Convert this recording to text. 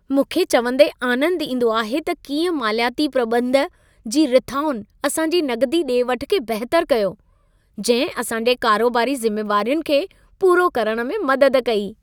मूंखे चवंदे आनंदु ईंदो आहे त कीअं मालियाती प्रॿंध जी रिथाउनि असांजी नक़दी डे॒-वठु खे बहितरु कयो, जंहिं असां जे कारोबारी ज़िमेवारियुनि खे पूरो करण में मदद कई।